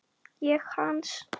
Ég hans.